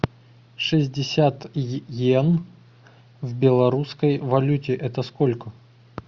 шестьдесят йен в белорусской валюте это сколько